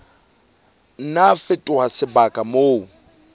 nna a fetoha sebaka moo